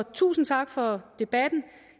tusind tak for debatten